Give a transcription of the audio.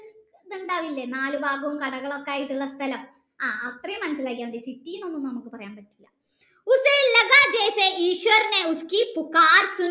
ഇണ്ടാവില്ലേ നാലു ഭാഗും കടകളായിട്ടുള്ള സ്ഥലം ആ അത്രയും മനസിലാക്കിയ മതി city എന്നൊന്നും നമ്മക് പറയാൻ പറ്റില്ല